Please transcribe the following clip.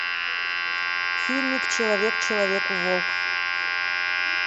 фильмик человек человеку волк